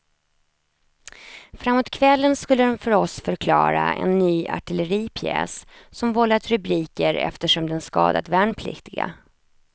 Framåt kvällen skulle de för oss förklara en ny artilleripjäs som vållat rubriker eftersom den skadat värnpliktiga.